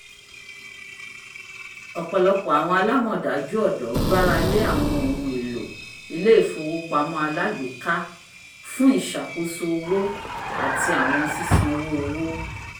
ọpọlọpọ awọn alamọdaju ọdọ gbára lé awọn ohun èlò ilè-ifowopamọ alagbeka fun iṣakoso owo ati awọn sisanwo owo